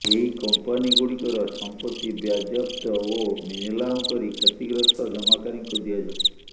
ଏହି କମ୍ପାନିଗୁଡ଼ିକର ସମ୍ପତ୍ତି ବ୍ୟାଜ୍ୟାପ୍ତ ଓ ନିଲାମ କରି କ୍ଷତିଗ୍ରସ୍ତ ଜମାକାରୀଙ୍କୁ ଦିଆଯାଉ